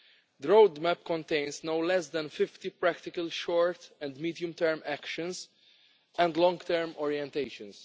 The roadmap contains no less than 50 practical short and medium-term actions and long-term orientations.